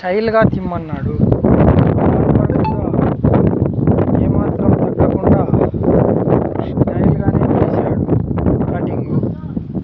Style గా తిమ్మన్నాడు. ఏ మాత్రం తగ్గకుండా స్టైల్ గానే తీసాడు కట్టింగు --